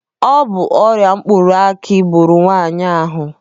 Ọ bụ ọrịa mkpụrụ aki gburu nwaanyị ahụ.